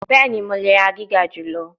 Bẹẹni, Mo le ra giga julọ